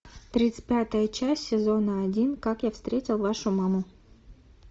тридцать пятая часть сезона один как я встретил вашу маму